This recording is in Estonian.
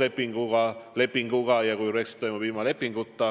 lepingu alusel, ja teine, kui Brexit toimub ilma lepinguta.